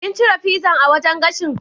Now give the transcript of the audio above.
Kin cire pizzan a wajan gashin?